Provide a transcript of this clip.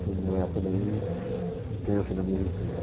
Foi uma época bem intensa na minha existência.